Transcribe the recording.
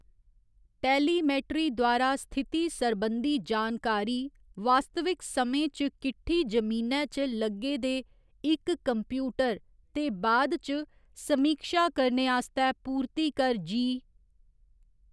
Telemetry द्वारा स्थिति सरबंधी जानकारी वास्तविक समें च किटठी जमीनै च लग्गे दे इक कम्प्यूटर ते बाद च समीक्षा करने आस्तै पूर्तिकर जी .